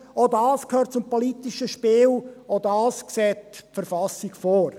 Auch dies gehört zum politischen Spiel, auch dies sieht die Verfassung vor.